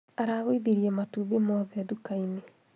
Aragũithirie matumbĩ mothe nduka-inĩ